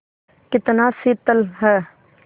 कितना शीतल है